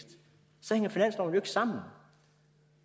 sammen